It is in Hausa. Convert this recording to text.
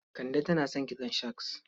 Kande tana son kitson shags.